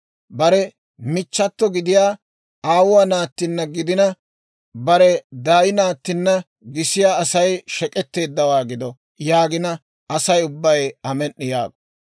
« ‹Bare michchato gidiyaa, aawuwaa naattinna gidina, bare daay naattinna gisiyaa Asay shek'etteeddawaa gido› yaagina, Asay ubbay, ‹Amen"i!› yaago.